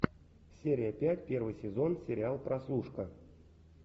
серия пять первый сезон сериал прослушка